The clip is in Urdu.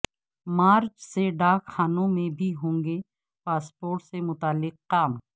مارچ سے ڈاک خانوں میں بھی ہوں گے پاسپورٹ سے متعلق کام